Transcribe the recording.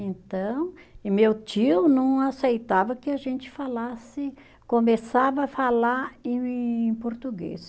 Então, e meu tio não aceitava que a gente falasse, começava a falar em em português.